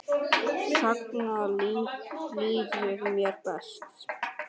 Þannig líður mér best.